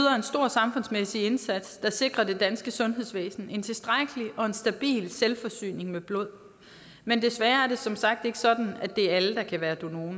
samfundsmæssig indsats der sikrer det danske sundhedsvæsen en tilstrækkelig og stabil selvforsyning med blod men desværre er det som sagt ikke sådan at det er alle der kan være donorer